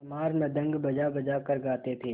चमार मृदंग बजाबजा कर गाते थे